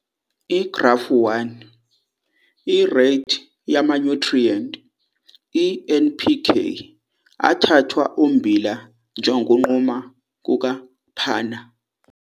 IGrafu 1- Ireythi yamanyuthriyenti i-NPK athathwa ummbila njengokunquma kuka-Pannar.